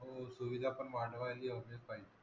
हो सुविधा पण वाढवायला हवेच पाहिजे.